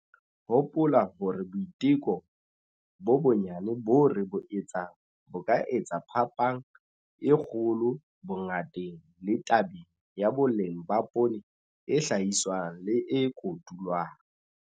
Hopola hore boiteko bo bonyane boo re bo etsang bo ka etsa phapang e kgolo bongateng le tabeng ya boleng ba poone e hlahiswang le e kotulwang.